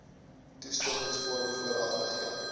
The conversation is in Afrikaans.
toestemmingsvorm vooraf gegee